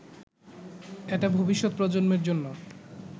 এটা ভবিষ্যৎ প্রজন্মের জন্য